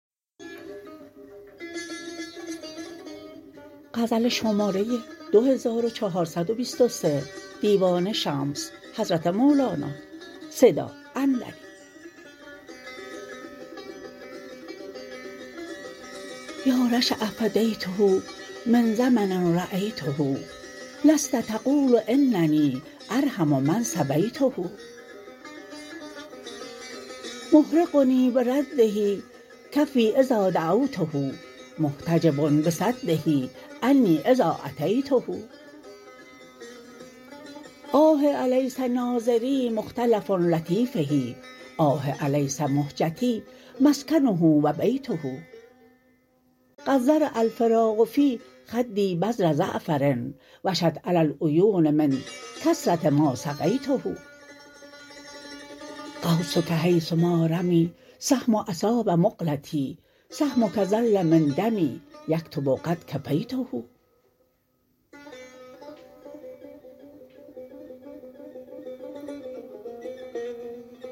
یا رشا فدیته من زمن رایته لست تقول اننی ارحم من سبیته محرقنی برده کفی اذا دعوته محتجب بصده عنی اذا اتیته آه الیس ناظری مختلف لطیفه آه الیس مهجتی مسکنه و بیته قد زرع الفراق فی خدی بذر زعفر وشت علی العیون من کثره ما سقیته قوسک حیث ما رمی السهم اصاب مقلتی سهمک ظل من دمی یکتب قد کفیته